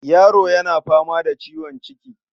Yaro yana fama da ciwon ciki.